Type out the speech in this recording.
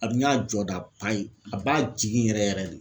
A bi n y'a jɔda ba ye a b'a jigin yɛrɛ yɛrɛ de.